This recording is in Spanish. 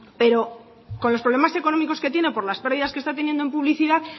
pero con los problemas económicos que tiene por las pérdidas que está teniendo en publicidad